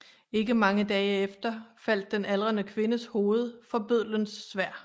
Ikke mange dage efter faldt den aldrende kvindes hoved for bøddelens sværd